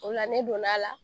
O la ne donna a la